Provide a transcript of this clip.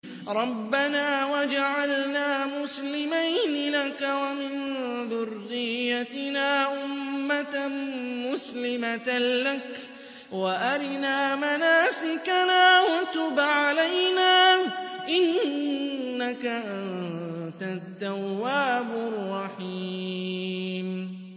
رَبَّنَا وَاجْعَلْنَا مُسْلِمَيْنِ لَكَ وَمِن ذُرِّيَّتِنَا أُمَّةً مُّسْلِمَةً لَّكَ وَأَرِنَا مَنَاسِكَنَا وَتُبْ عَلَيْنَا ۖ إِنَّكَ أَنتَ التَّوَّابُ الرَّحِيمُ